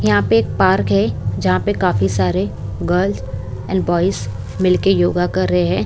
यहां पे एक पार्क है जहां पे काफी सारे गर्ल्स एंड बॉयज मिल के योगा कर रहे है।